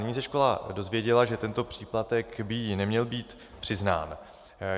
Nyní se škola dozvěděla, že tento příplatek by jí neměl být přiznán.